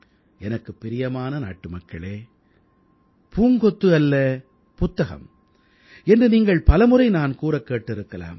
எனக்குப் பிரியமான நாட்டுமக்களே பூங்கொத்து அல்லபுத்தகம் என்று நீங்கள் பலமுறை நான் கூறக் கேட்டிருக்கலாம்